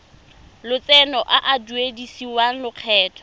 lotseno a a duedisiwang lokgetho